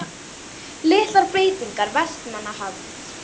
Litlar breytingar vestanhafs